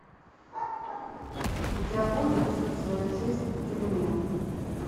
у тебя будет всю свою жизнь в тюрьме